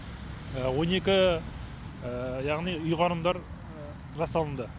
он екі яғни ұйғарымдар жасалынды